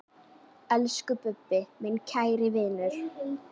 Elsku Bubbi, minn kæri vinur.